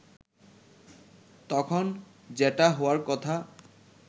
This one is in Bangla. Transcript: তখন যেটা হওয়ার কথা